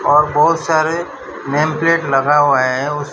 और बहुत सारे नेम प्लेट लगा हुआ है उस--